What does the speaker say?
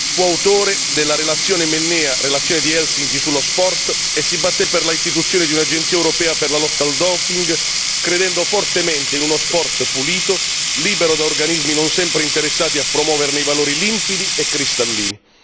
Fu autore della relazione Mennea relazione di Helsinki sullo sport e si batté per l'istituzione di un'agenzia europea per la lotta al doping credendo fortemente in uno sport pulito, libero da organismi non sempre interessati a promuoverne i valori limpidi e cristallini.